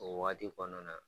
O wagati kɔnɔna na